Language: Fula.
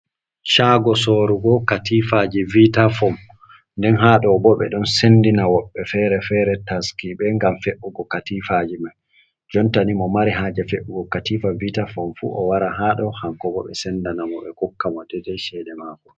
Caago sorugo katifaji vita fom, nden haɗo bo ɓeɗon sendina woɓbe fere-fere taskiɓe ngam fe’ugo katifaji man, jontani mo mari haje fe’ugo katifa vita fom fu o wara haɗo kanko bo ɓe sendana mo ɓe kokka mo deidei ceede mako.